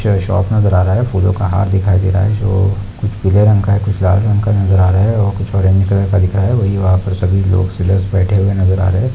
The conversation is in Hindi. यहाँ कुछ शॉप नजर आ रहा है फूलों का हार दिखाई दे रहा है जो कुछ पीले रंग का कुछ लाल रंग का नजर आ रहा है और कुछ ओरेंज कलर का दिख रहा है वही वहां पर सभी लोग बैठे हुए नजर आ रहे हैं।